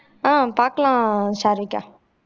ஆஹ் பாக்கலாம் சாருவிக்கா